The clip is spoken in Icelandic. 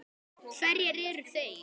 Hverjir eru þeir?